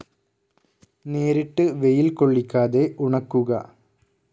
നേരിട്ട് വെയിൽ കൊള്ളിക്കാതെ ഉണക്കുക